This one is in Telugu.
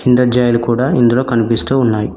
కిండర్ జాయ్ లు ఇందులో కనిపిస్తూ ఉన్నాయి.